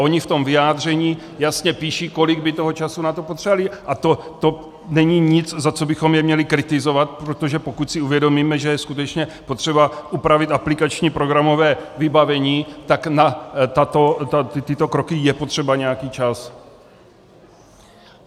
A oni v tom vyjádření jasně píší, kolik by toho času na to potřebovali, a to není nic, za co bychom je měli kritizovat, protože pokud si uvědomíme, že je skutečně potřeba upravit aplikační programové vybavení, tak na tyto kroky je potřeba nějaký čas.